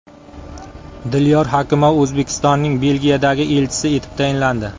Dilyor Hakimov O‘zbekistonning Belgiyadagi elchisi etib tayinlandi.